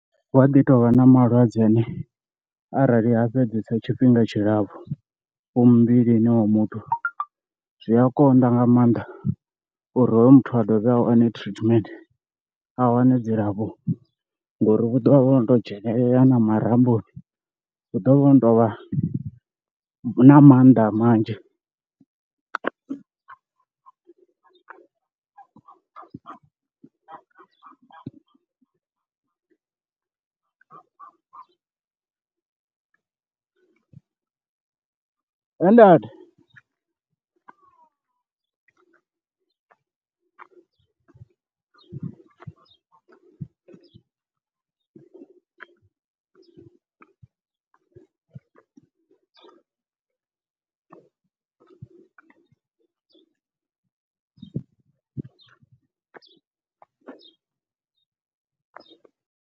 Hu a ḓi tovha na malwadze ane arali ha fhedzesa tshifhinga tshilapfhu hu muvhilini wa muthu zwi a konḓa nga maanḓa uri hoyu muthu a dovhe a wane treatment a wane dzilafho ngori hu ḓovha hu no to dzhenelela na marambo, hu ḓovha ho no tou vha na mannḓa manzhi he ndaa.